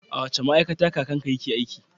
A wace ma'aikata kakanka yake aiki?